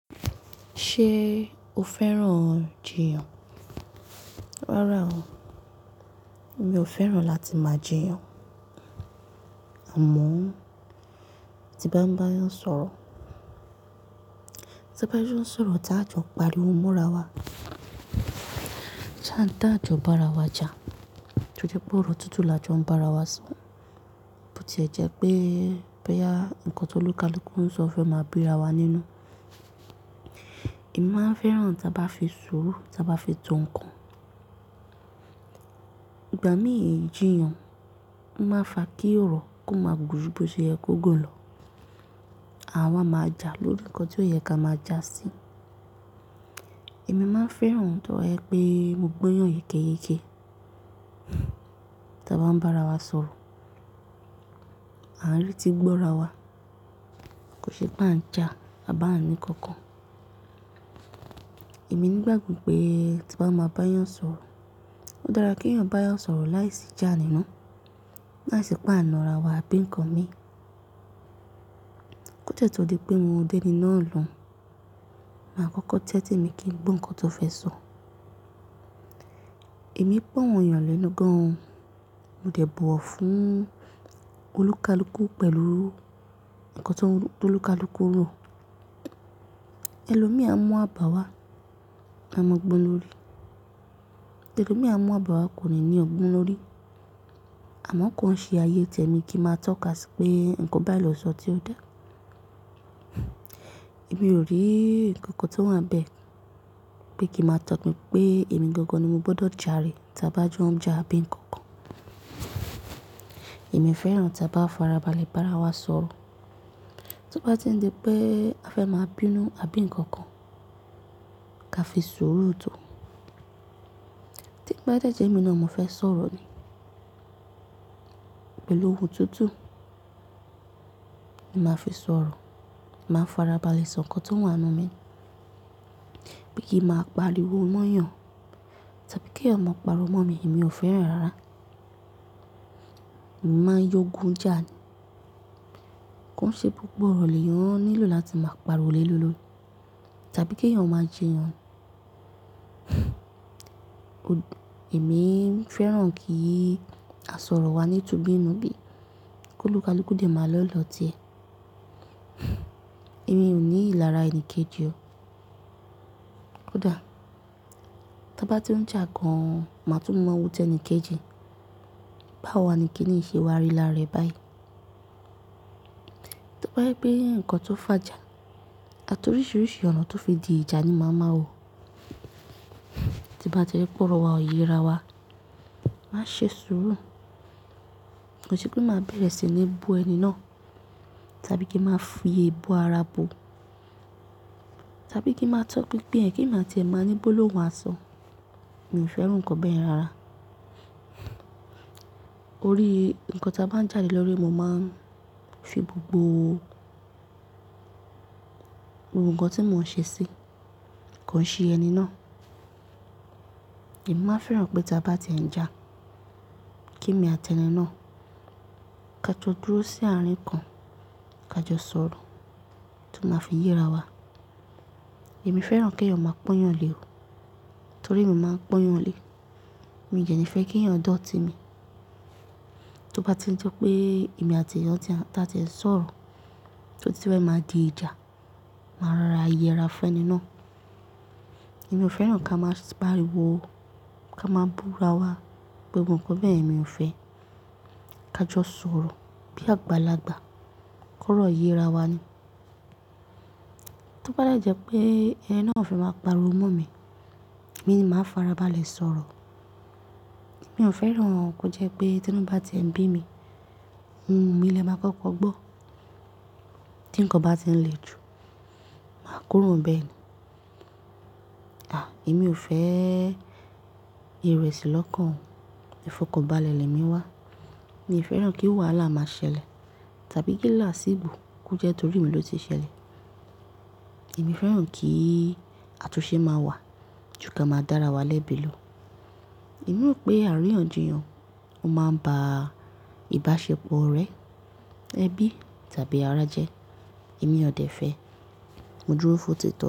Ṣé o fẹ́ràn jíyàn? Rárá o, mi ò fẹ́ràn láti máa jíyàn. Àmọ́ tí bá ń bá ẹyan sọ̀rọ̀, ta bá ń jo sọ̀rọ̀ tá jọ páriwo mora wá. Táa jọ bá ara wa jà, tó jẹ pé ọ̀rọ̀ tútù la jọ ń bá ara wá so, bó ti ẹ̀ jẹ́ pé, boya, nǹkan tó olúkalúkù ń sọ fẹ́ máa bíra wa nínú. Èmi máa ń fẹ́ràn tí a bá fi sùúrù, tí a bá fi to nǹkan. Ìgbà mí ìjíyàn o máa ń fa kí ọ̀rọ̀ kó máa gùn bó ṣe yẹ kó gun lo. Àwa máa jà lórí nǹkan tí ó yẹ ká máa jà sí. Èmi máa ń fẹ́ràn tó je pé mo gbọ́yàn yékéyéke. Ta bá ń bá ara wa sọ̀rọ̀, à ń retí gbọ́ra wa. Kò ṣe pé à ń jà à bá ń ní kankan. Èmi nígbà gbo pé tí n bá máa bá ẹyan sọ̀rọ̀, ó dára kí ẹ̀ yan bá ẹyan sọ̀rọ̀ láìsí ijà nínú, láìsí pa àna ara wa àbí nǹkan mi. Kó tẹ́tọ́ di pé mo o déní náà lòun, màá kọ́kọ́ tẹ́tí mi kí n gbọ́ nǹkan tó fẹ́ sọ. Èmi e gbọ́ awon eyàn lènú gan-an o, mo dẹ̀ bọ̀ wọ̀ fún olúkalúkù pẹ̀lú nǹkan tó olúkalúkù rò. Ẹlòmí á mú àbàwá, a mọ gbón lórí. Elomi a mú àbàwá kò ní ní ọ̀gbọ́n lórí. Àmọ́ ko n ṣé ayé tèmi kí n máa tọ́ka sí pé nǹkan báyi ló sọ tí ó dá. Èmi ò rí nǹkan kan tó wà níbẹ̀ pé kí ma tọpin pé èmi gangan ni mo gbọdọ̀ jà re tí a bá jọ ń jà àbí nǹkan kan. Èmi fẹ́ràn tí a bá farabalẹ̀ bá ara wa sọ̀rọ̀. Tó bá ti ń di pé a fẹ́ máa bínú àbí nǹkan kan ká fi sùúrù tó. To bá dẹ́jẹ́ emi náà mo fẹ́ sọ̀rọ̀ ni pẹ̀lú ohùn tútù. Ni máa fi sọ̀rọ̀, màá farabalẹ̀ sọ nǹkan tó wà nínú mi. Bí i kí máa pariwo mọ́ ẹ́yàn, tàbí kí ẹ́yan ma pariwo mọ́ mi, èmi ò fẹ́ràn rárá. Mo máa yọgún jà ni. Kon ṣe gbogbo ọ̀rọ̀ lè yan nílò láti máa pariwo lélórí tàbí kí ẹ̀ yan máa jíyàn. O-- èmi fẹ́ràn kí àsọ̀rọ̀ wa ní tu bí n nú bí, kó olúkalúkù de máa lọ́ lọ ti e. Èmi ò ní ìlara ẹni kejì o. Ko dà. Ta bá ti ń jà gan-an, màá tún mọ̀ wòó tẹni kejì. Báwo wa ni kíniyi ṣe wá rí lára rẹ̀ báyìí? To ba jepe nǹkan tó fà jà, àti oríṣiríṣi ọ̀nà tó fi di ìjà ni màá ma wo. Tí bá ti ri pé ọ̀rọ̀ wa ò yera wa, máa ṣe sùúrù. Kò se pé màá bẹ̀rẹ̀ sí ní bú ẹni náà tàbí kí màá fi ébú ara bu, tàbí kí màá tọpin pin ẹ̀ kí emi á ti ẹ màá ní gbólohun àsọ. Èmi ò fẹ́ràn nǹkan bẹ́ẹ̀ yen rara. Orí nǹkan ta bá ń jà le lórí, mo máa ń fi gbogbo ohùn kan tí mò ń ṣe sí, kò ń ṣe ẹni náà. Èmi má fẹ́ràn pé tí a bá ti ń jà kí èmi àti ẹni náà ká jọ dúró sí àárín kan ká jọ sọ̀rọ̀ tó máa fi yera wa. Èmi fẹ́ràn kí ẹ̀ yan máa pọ́nyàn lé o, torí emi máa ń pọ́nyàn lé. Mi ò dẹ́ ní fẹ́ kí ẹ̀yan dọ̀tí mi. Tó bá ti ń di pé èmi àti ẹ́yan ta tí a ti ń sọ̀rọ̀ tí ó ti fẹ́ máa di ìjà, màá rọra yera fun eni náà. Èmi ò fẹ́ràn ká máa pariwo ká máa búra wa, gbogbo nǹkan bẹ́ẹ̀ yen mi ò fẹ́. Ká jọ sọ̀rọ̀ bí àgbàlagbà kórọ̀ yera wa ni. Tó bá dẹ́jẹ́ pé ẹni náà fẹ́ máa pariwo mọ́ mi, èmi ni màá farabalẹ̀ sọ̀rọ̀. Èmi ò fẹ́ràn kó jẹ́ pé tí inu bá ti e nbí mi, ohun mi lè máa kọ́kọ́ gbọ́. Tí nǹkan bá ti ń le jù, màá kúrò níbẹ̀ ni. Èmi ò fẹ́ ìrẹ̀sì lọ́kàn, ìfọkànbalẹ̀ lẹ̀ mi wá. Èmi ò fẹ́ràn kí wàhálà máa ṣẹlẹ̀ tàbí kí làásì gbò kó jẹ́ torí mi ló se ṣẹlẹ̀. Èmi fẹ́ràn kí àtúnṣe máa wà ju ka máa dára wá lẹ́bi lò. Èmi mọ̀ pé àríyànjiyàn ó máa ń ba ìbáṣepọ̀ orẹ, ẹbí tàbí ará jẹ. Èmi ò dẹ̀ fẹ́, mo dúró fún otítọ̀.